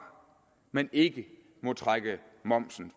men ikke må trække momsen